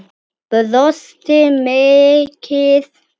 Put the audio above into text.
Brosti mikið.